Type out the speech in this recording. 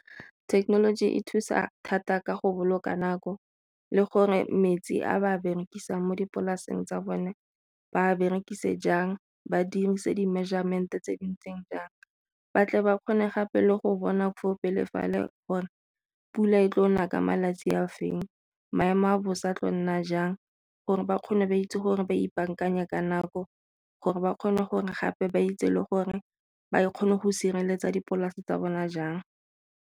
Thekenoloji e thusa thata ka go boloka nako le gore metsi a ba berekisang mo dipolaseng tsa bone ba berekise jang, badirise di-measurement tse di ntseng jang. Ba tle ba kgone gape le go bona fo pele fale gore pula e tlo na ka malatsi a feng, maemo a bosa tlo nna jang gore ba kgone ba itse gore ba ipakanya ka nako gore ba kgone gore gape ba itse le gore ba kgone go sireletsa dipolase tsa bona jang.